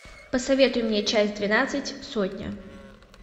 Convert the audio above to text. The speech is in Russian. посоветуй мне часть двенадцать сотня